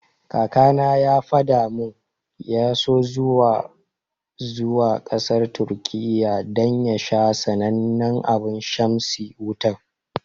Kakana ya fada mun ya so zuwa zuwa kasar Turkiya dan ya sha sanannen abun shamsi Wutan.